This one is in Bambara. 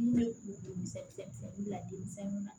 N'u bɛ u bɛ se u bila denmisɛnninw na